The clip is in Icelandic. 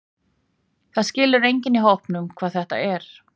Það skilur enginn í hópnum hvað þetta er.